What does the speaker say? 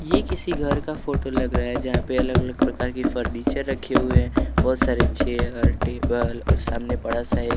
ये किसी घर का फोटो लग रहा है जहाँ पे अलग-अलग प्रकार की फर्नीचर रखे हुए हैं बहुत सारे चेयर टेबल और सामने बड़ा सा एक--